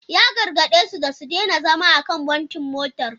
Ya gargade su da su daina zama a kan bontin motar.